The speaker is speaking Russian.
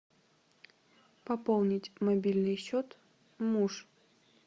пополнить мобильный счет муж